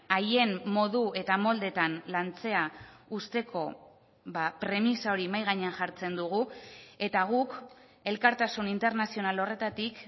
haien modu eta moldeetan lantzea uzteko premisa hori mahai gainean jartzen dugu eta guk elkartasun internazional horretatik